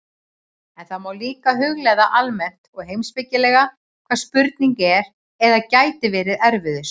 En það má líka hugleiða almennt og heimspekilega, hvaða spurning er eða gæti verið erfiðust.